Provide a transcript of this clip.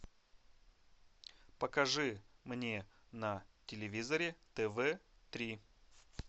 покажи мне на телевизоре тв три